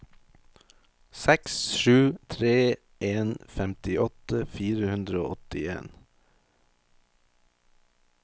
seks sju tre en femtiåtte fire hundre og åttien